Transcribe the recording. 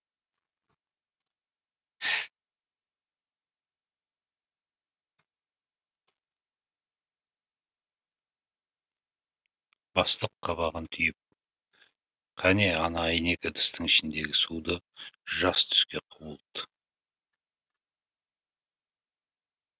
бастық қабағын түйіп қане ана әйнек ыдыстың ішіндегі суды жас түске құбылт